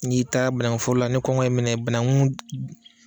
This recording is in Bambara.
N'i taara banankun foro la, ni kɔngɔ y'i minɛ banakun